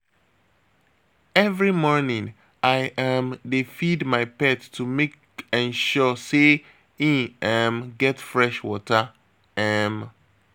Every morning, I um dey feed my pet to make ensure sey e um get fresh water. um